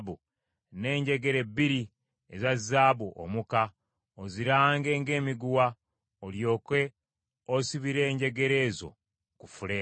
n’enjegere bbiri eza zaabu omuka, ozirange ng’emiguwa; olyoke osibire enjegere ez’oku fuleemu.